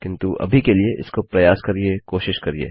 किन्तु अभी के लिए इसको प्रयास करिये इसके साथ जाइये